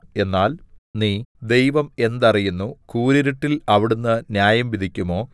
എന്നാൽ നീ ദൈവം എന്തറിയുന്നു കൂരിരുട്ടിൽ അവിടുന്ന് ന്യായംവിധിക്കുമോ